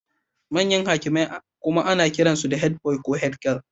Manyan hakimai kuma ana kiransu da head boy ko head girl.